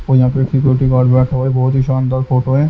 और यहाँ पे एक सिक्योरिटी गार्ड बैठा है बहुत ही शानदार फोटो है।